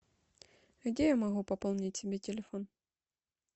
где я могу пополнить себе телефон